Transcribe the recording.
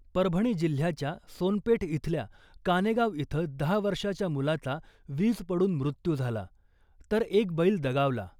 परभणी जिल्ह्याच्या सोनपेट इथल्या कानेगाव इथं दहा वर्षाच्या मुलाचा वीज पडून मृत्यू झाला , तर एक बैल दगावला .